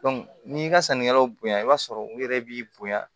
n'i ka sannikɛlaw bonya i b'a sɔrɔ u yɛrɛ b'i bonya